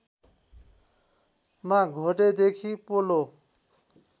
मा घोडेदेखि पोलो